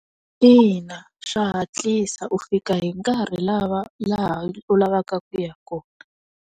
Ina, swa hatlisa u fika hi nkarhi lava laha u lavaka kuya kona.